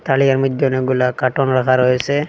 তারিয়ার মইধ্যে অনেকগুলা কাটন রাখা রয়েছে।